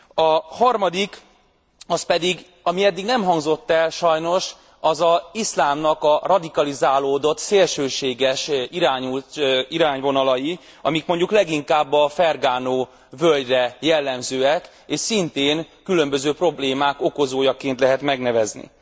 A harmadik, az pedig ami eddig nem hangzott el sajnos, az az iszlámnak a radikalizálódott szélsőséges irányvonalai, amik mondjuk leginkább a Fergana völgyre jellemzők és szintén különböző problémák okozójaként lehet megnevezni.